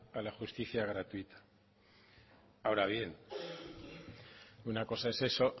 a la justicia gratuita ahora bien una cosa es eso